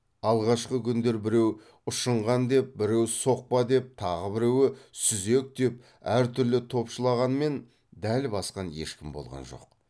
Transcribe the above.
алғашқы күндер біреу ұшынған деп біреу соқпа деп тағы біреуі сүзек деп әртүрлі топшылағанмен дәл басқан ешкім болған жоқ